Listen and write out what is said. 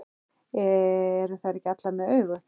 Eru þær ekki allar með augu?